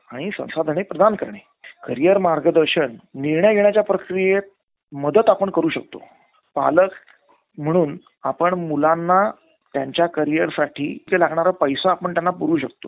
अच्चा. तर तुम्हाला कोणती company चा mobile घ्याचा आहे. मंझे आता तुम्ही सध्या कोणता mobileuse करत आहे.